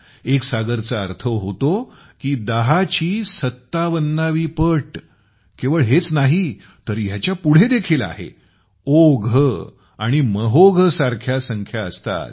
एक सागर चा अर्थ होतो की 10 ची पॉवर 57 । केवळ हेच नाही तर ह्याच्या पुढे देखील आहे ओघ और महोघ सारख्या संख्या असतात